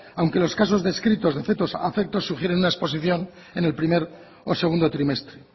aunque los casos descritos de fetos afectos sugiere una exposición en el primer o segundo trimestre